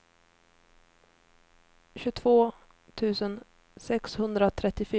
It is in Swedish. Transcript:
tjugotvå tusen sexhundratrettiofyra